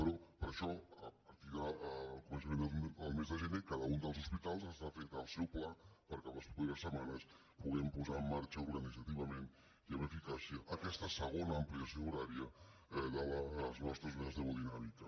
però per això a partir del començament del mes de gener cada un dels hospi·tals està fent el seu pla perquè en les properes setma·nes puguem posar en marxa organitzativament i amb eficàcia aquesta segona ampliació horària de les nos·tres unitats d’hemodinàmica